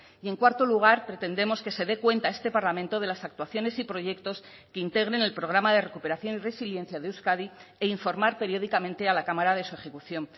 y en cuarto lugar pretendemos que se dé cuenta a este parlamento de las actuaciones y proyectos que integren el programa de recuperación y resiliencia de euskadi e informar periódicamente a la cámara de su ejecución